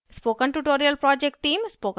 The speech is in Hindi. spoken tutorial project team